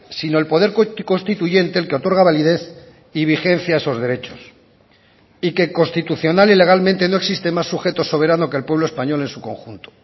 sino el poder constituyente el que otorga validez y vigencia a esos derechos y que constitucional y legalmente no existe más sujeto soberano que el pueblo español en su conjunto